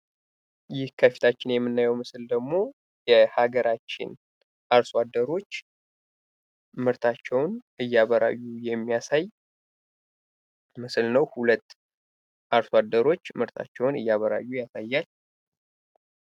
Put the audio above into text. ይህ ከፊታችን የምናየው ምስል ደግሞ የሀገራችን አርሶአደሮች ምርታቸውን እያበራዩ የሚያሳይ ምስል ነው። ሁለት አርሶአደሮች ምርታቸውን እያበራዩ ያሳያል።